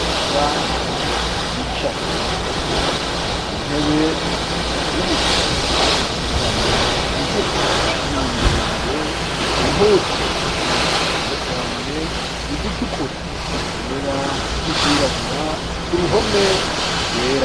Abantu bicaye ku ntebe b'imishatsi itandukanye, migufi niyindi miremire, impuzu z'amabara atandukanye, izitukura, izera, n'izirabura, uruhome rwera.